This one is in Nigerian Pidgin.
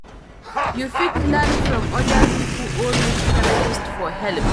You fit learn from oda pipo or meet therapist for help